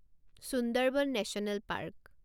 Sundarban national park